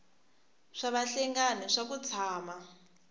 swa vahlengani swa ku tshama